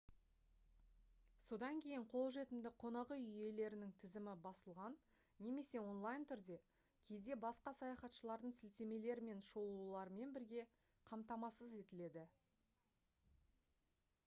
содан кейін қолжетімді қонақүй иелерінің тізімі басылған немесе онлайн түрде кейде басқа саяхатшылардың сілтемелері мен шолуларымен бірге қамтамасыз етіледі